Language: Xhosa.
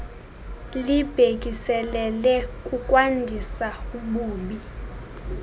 libhekiselele kukwandisa ububi